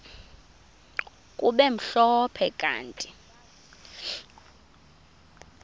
kube mhlophe kanti